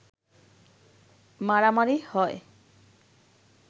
মারামারি হয়